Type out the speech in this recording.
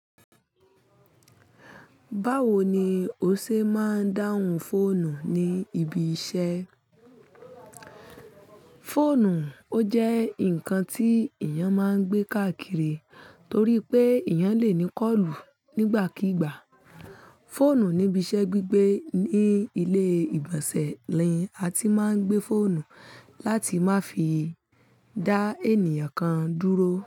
Báwo ni o ṣe máa ń dáhùn fóònù ní ibi iṣẹ́? Fóònù, ó jẹ́ nǹkan tí èèyàn máa ń gbé káàkiri torí pé èèyàn lè ní kọ́ọ̀lù nígbàkígbà. Fóònù níbi iṣẹ́ gbígbé ní ilé ìgbọ̀nsẹ̀ ni a ti máa ń gbé fóònù láti má fi dá ènìyàn kan dúró.